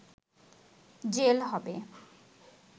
jail হবে